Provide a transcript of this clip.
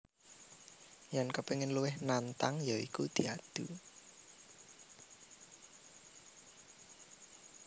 Yèn kepingin luwih nantang ya iku diadu